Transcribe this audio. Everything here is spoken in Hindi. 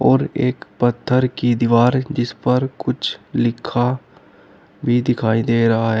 और एक पत्थर की दीवार जिस पर कुछ लिखा भी दिखाई दे रहा है।